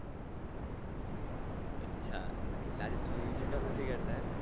અચ્છા તમે લાગે તમે બીજું કામ નથી કરતા એમ ને જ